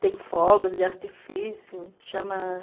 Tem fogos de artifício.